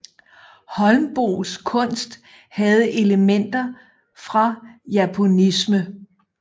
Holmboes kunst havde elementer fra japonisme